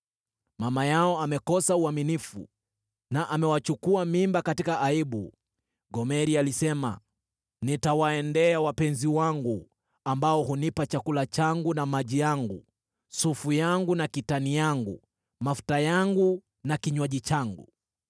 Mama yao amekosa uaminifu na amewachukua mimba katika aibu. Gomeri alisema, ‘Nitawaendea wapenzi wangu, ambao hunipa chakula changu na maji yangu, sufu yangu na kitani yangu, mafuta yangu na kinywaji changu.’